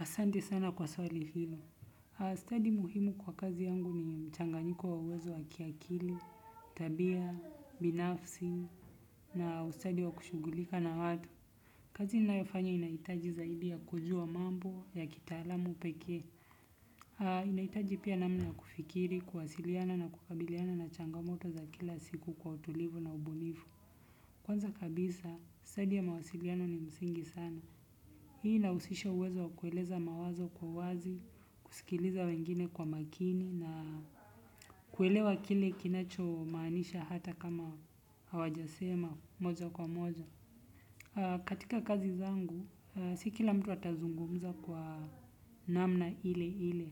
Ahsante sana kwa swali hilo. Study muhimu kwa kazi yangu ni mchanganyiko wa uwezo wa kiakili, tabia, binafsi, na ustadi wa kushughulika na watu. Kazi ninayofanya inahitaji zaidi ya kujua mambo ya kitaalamu pekee. Inahitaji pia namna ya kufikiri, kuwasiliana na kukabiliana na changamoto za kila siku kwa utulivu na ubunifu. Kwanza kabisa, study ya mawasiliano ni msingi sana. Hii inahusisha uwezo wa kueleza mawazo kwa wazi, kusikiliza wengine kwa makini na kuelewa kile kinacho maanisha hata kama hawajasema moja kwa moja. Katika kazi zangu, si kila mtu atazungumza kwa namna ile ile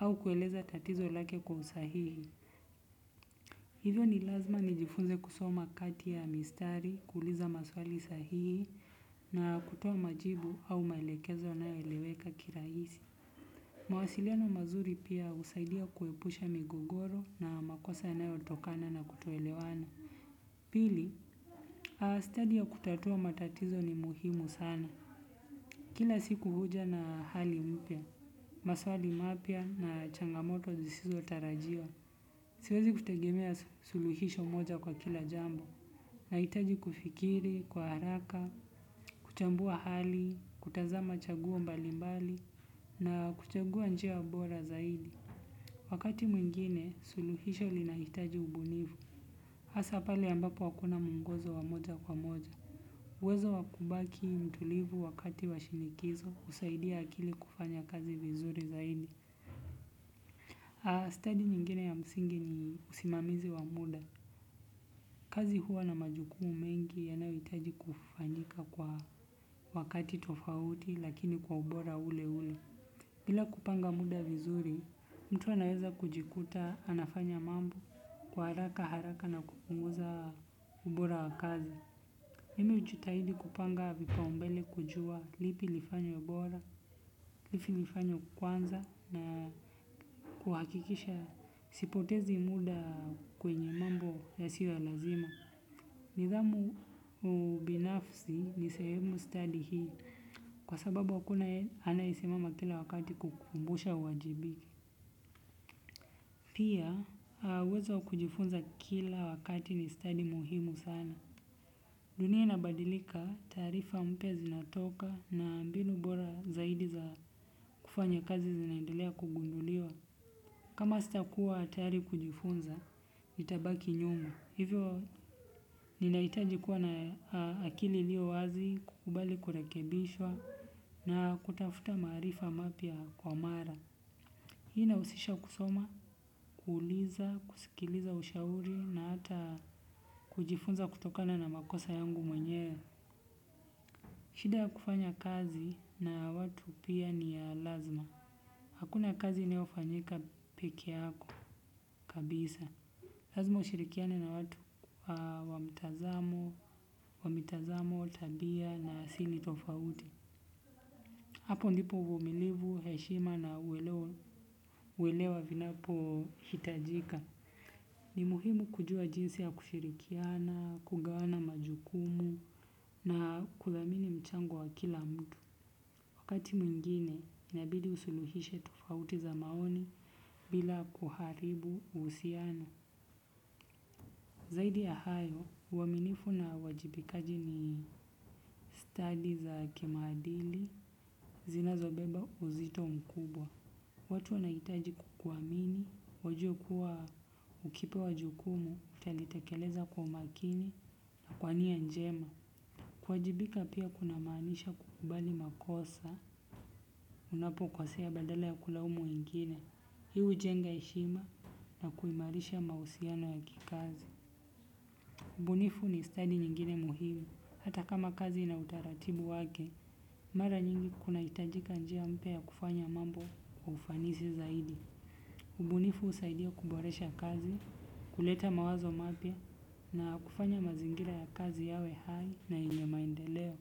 au kueleza tatizo lake kwa usahihi. Hivyo ni lazima nijifunze kusoma kati ya mistari, kuuliza maswali sahihi na kutoa majibu au maelekezo yanayoeleweka kirahisi. Mawasiliano mazuri pia husaidia kuepusha migogoro na makosa yanayotokana na kutoelewana. Pili, stadi ya kutatua matatizo ni muhimu sana. Kila siku huja na hali mpya, maswali mapya na changamoto zisizo tarajiwa. Siwezi kutegemea suluhisho moja kwa kila jambo, nahitaji kufikiri, kwa haraka, kuchambua hali, kutazama chaguo mbali mbali, na kuchagua njia bora zaidi. Wakati mwingine, suluhisho lina hitaji ubunifu, hasa pali ambapo hakuna muongozo wa moja kwa moja. Uwezo wa kubaki mtulivu wakati wa shinikizo, husaidia akili kufanya kazi vizuri zaidi. Aa, study nyingine ya msingi ni usimamizi wa muda. Kazi huwa na majukumu mengi yanayohitaji kufanyika kwa wakati tofauti lakini kwa ubora ule ule. Bila kupanga muda vizuri, mtu anaweza kujikuta anafanya mambo kwa haraka haraka na kupunguza ubora wakazi. Mimi hujitahidi kupanga vipaombele kujua lipi lifanywe ubora, lipi lifanywe kwanza na kuhakikisha sipotezi muda kwenye mambo yasio ya lazima. Nidhamu ubinafsi ni sehemu study hii kwa sababu hakuna anaesimama kila wakati kukukumbusha uwajibike. Pia, uwezo wa kujifunza kila wakati ni study muhimu sana. Dunia inabadilika taarifa mpya zinatoka na mbinu bora zaidi za kufanya kazi zinaendelea kugunduliwa. Kama sitakuwa tayari kujifunza, nitabaki nyuma. Hivyo ninahitaji kuwa na akili iliyo wazi kukubali kurekebishwa na kutafuta maarifa mapya kwa mara. Hii inahusisha kusoma, kuuliza, kusikiliza ushauri na hata kujifunza kutokana na makosa yangu mwenyewe. Shida ya kufanya kazi na watu pia ni ya lazima. Hakuna kazi inayofanyika peke yako kabisa. Lazima ushirikiane na watu wa mtazamo, wa mitazamo tabia na asili tofauti. Hapo ndipo uvumilivu, heshima na uelewa vinapo hitajika. Ni muhimu kujua jinsi ya kushirikiana, kugawana majukumu na kudhamini mchango wa kila mtu. Wakati mwingine, inabidi usuluhishe tofauti za maoni bila kuharibu uhusiano. Zaidi ya hayo, uaminifu na uajibikaji ni study za kimaadili zinazobeba uzito mkubwa. Watu wanahitaji kukuamini, wajue kuwa ukipewa jukumu, utalitekeleza kwa makini na kwa nia njema. Kuwajibika pia kuna maanisha kukubali makosa unapo kosea badala ya kulaumu wengine. Hii hujenga heshima na kuimarisha mahusiano ya kikazi. Ubunifu ni stadi nyingine muhimu, hata kama kazi ina utaratibu wake, mara nyingi kuna hitajika njia mpya ya kufanya mambo wa ufanisi zaidi. Ubunifu husaidia kuboresha kazi, kuleta mawazo mapya na kufanya mazingira ya kazi yawe hai na yenye maendeleo.